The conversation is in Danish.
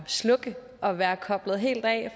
slukke og være koblet helt af